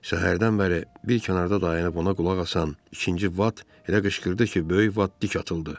Səhərdən bəri bir kənarda dayanıb ona qulaq asan ikinci Bat elə qışqırdı ki, böyük Bat dik atıldı.